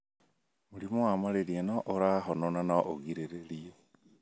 Mũrimũ wa malaria ni ũrahonwo na no ũgirĩrĩrio.